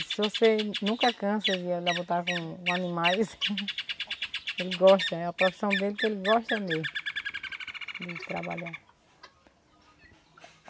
Se você nunca cansa de voltar com animais, ele gosta, é a profissão dele que ele gosta mesmo de trabalhar.